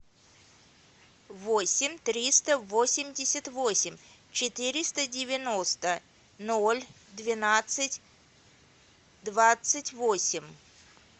восемь триста восемьдесят восемь четыреста девяносто ноль двенадцать двадцать восемь